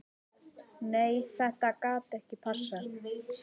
Nei þetta gat ekki passað.